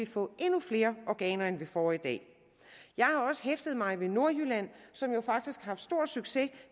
få endnu flere organer end vi får i dag jeg har også hæftet mig ved i nordjylland faktisk har haft stor succes